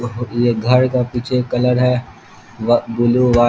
ये घर का पिछे कलर है व ब्लू वा --